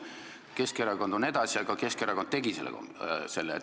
Keskerakond on alles, aga Keskerakond tegi selle komisjoni.